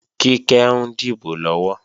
Kíkẹ́ ń dìbò lọ́wọ́